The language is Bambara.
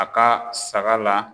A ka saga la.